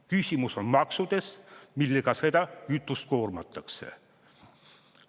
Küsimus on maksudes, millega seda kütust koormatakse.